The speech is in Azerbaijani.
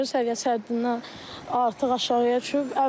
Suyun səviyyəsi həddindən artıq aşağıya düşüb.